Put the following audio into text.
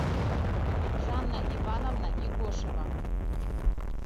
жанна ивановна игошева